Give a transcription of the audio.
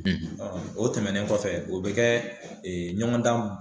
o tɛmɛnen kɔfɛ o be kɛ ɲɔgɔn dan